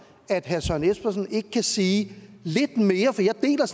at herre søren espersen ikke kan sige lidt mere